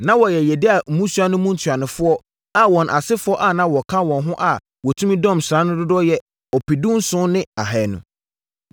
Na wɔyɛ Yediael mmusua no mu ntuanofoɔ a wɔn asefoɔ a na wɔka wɔn ho a wɔtumi dɔm sraa no dodoɔ yɛ ɔpedunson ne ahanu (17,200).